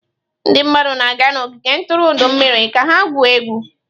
Ndị mmadụ na-aga n'ogige ntụrụndụ mmiri ka ha gwuo egwu.